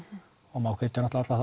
og má hvetja náttúrulega